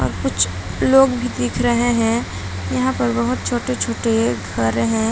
और कुछ लोग भी दिख रहे हैं। यहाँ पे बोहोत छोटे-छोटे घर हैं।